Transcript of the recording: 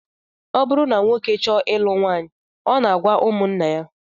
Ọ bụrụ na nwoke chọọ ilu nwaanyị, ọ na-agwa ụmụnna ya